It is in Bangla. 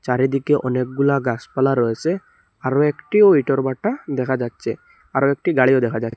চারিদিকে অনেকগুলা গাসপালা রয়েসে আরো একটিও ইটোর ভাটা দেখা যাচ্ছে আরো একটি গাড়িও দেখা যা--